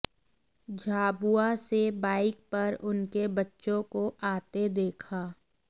झाबुआ से बाइक पर उनके बच्चों को आते देखा